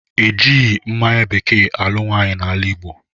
E jighi mmanya bekee alụ nwaanyị n'ala Igbo